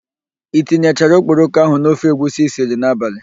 I tinyechara okporoko ahụ n'ofe egwusi i siri n'abalị?